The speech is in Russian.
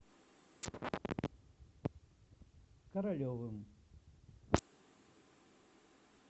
королевым